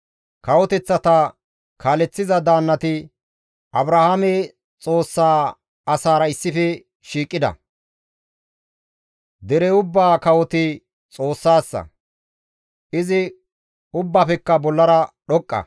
Kawoteththata kaaleththiza daannati Abrahaame Xoossaa asaara issife shiiqida; dere ubbaa kawoti Xoossassa; izi ubbafekka bollara dhoqqa.